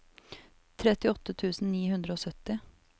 trettiåtte tusen ni hundre og sytti